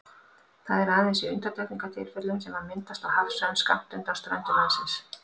Það er aðeins í undantekningartilvikum sem hann myndast á hafsvæðum skammt undan ströndum landsins.